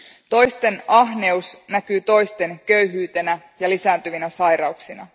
Toisten ahneus näkyy toisten köyhyytenä ja lisääntyvinä sairauksina.